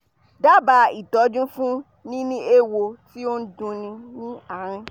daba itoju fun nini ewo ti o n dunni laarin idi